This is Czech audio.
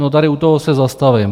No, tady u toho se zastavím.